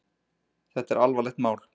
Þetta er alvarlegt mál.